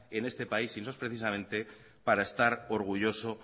en este país y no es precisamente para estar orgullosos